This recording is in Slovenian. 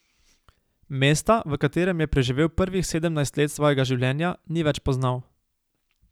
Mesta, v katerem je preživel prvih sedemnajst let svojega življenja, ni več poznal.